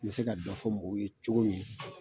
N bɛ se ka dɔ fɔ mɔgɔw ye cogo min.